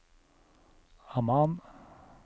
Amman